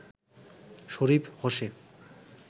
Sharif Jose